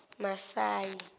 masayi